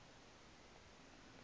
inciba